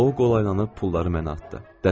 O qolaylanıb pulları mənə atdı.